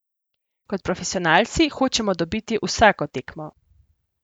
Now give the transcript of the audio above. Kot profesionalci hočemo dobiti vsako tekmo.